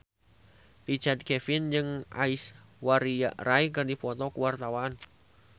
Richard Kevin jeung Aishwarya Rai keur dipoto ku wartawan